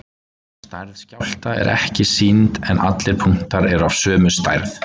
Stærð skjálfta er ekki sýnd en allir punktar eru af sömu stærð.